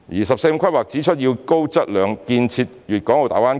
"十四五"規劃指出要高質量建設粵港澳大灣區。